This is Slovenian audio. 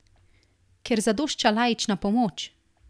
Ker zadošča laična pomoč?